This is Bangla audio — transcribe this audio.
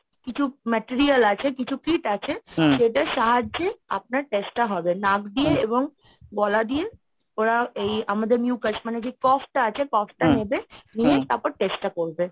কিছু material আছে কিছু kit আছে সেটার সাহায্যে আপনার test টা হবে নাক দিয়ে এবং গলা দিয়ে ওরা এই আমাদের যে coughটা আছে, cough টা নেবে নিয়ে তারপর test টা করবে।